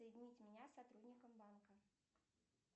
соедините меня с сотрудником банка